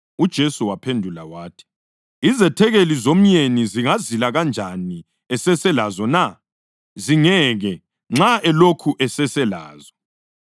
UJesu waphendula wathi, “Izethekeli zomyeni zingazila kanjani eseselazo na? Zingeke, nxa elokhu eseselazo.